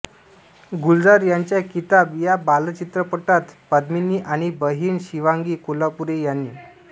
गुलजार यांच्या किताब या बालचित्रपटात पद्मिनी आणि बहीण शिवांगी कोल्हापुरे यांनी